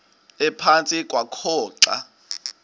ephantsi kwakho xa